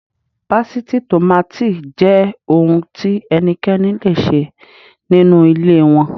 Pásítìì tòmáátì jẹ́ ohun tí ẹnikẹ́ni le ṣe nínú ilé wọn.